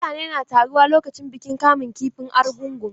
Mutane na taruwa lokacin bikin kamun kifin argungu.